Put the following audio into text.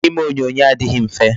Ime onyonyo adịghị mfe.